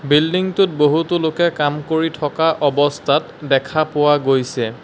বিল্ডিংটোত বহুতো লোকে কাম কৰি থকা অৱস্থাত দেখা পোৱা গৈছে।